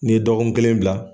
Ni ye dɔgɔkun kelen bila.